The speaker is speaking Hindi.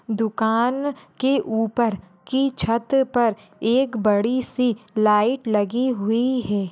दुकान की ऊपर की छत पर एक बड़ी सी लाइट लगि हुई है।